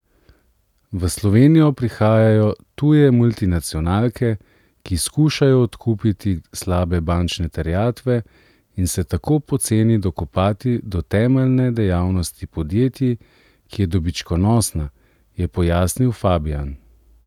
V Slovenijo prihajajo tuje multinacionalke, ki skušajo odkupiti slabe bančne terjatve in se tako poceni dokopati do temeljne dejavnosti podjetij, ki je dobičkonosna, je pojasnil Fabijan.